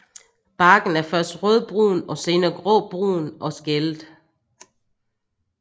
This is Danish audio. Barken er først rødbrun og senere gråbrun og skællet